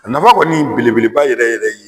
A nafa kɔni bele beleba yɛrɛ yɛrɛ ye.